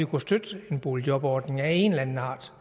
kunne støtte en boligjobordning af en eller anden art